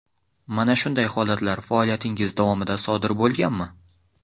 Mana shunday holatlar faoliyatingiz davomida sodir bo‘lganmi?